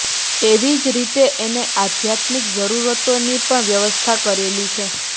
એવી જ રીતે એને આધ્યાત્મિક જરૂરતોની પણ વ્યવસ્થા કરેલી છે